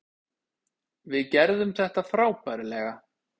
Við gerðum þetta frábærlega.